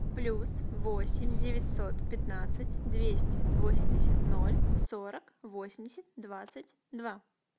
плюс восемь девятьсот пятнадцать двести восемьдесят ноль сорок восемьдесят двадцать два